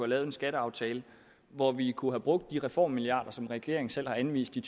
lavet en skatteaftale hvor vi kunne have brugt de reformmilliarder som regeringen selv har anvist i